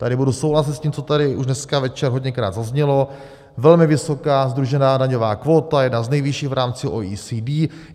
Tady budu souhlasit s tím, co tady už dneska večer hodněkrát zaznělo, velmi vysoká sdružená daňová kvóta, jedna z nejvyšších v rámci OECD.